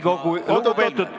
Plaksutage nii palju kui ...